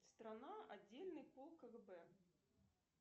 страна отдельный полк кгб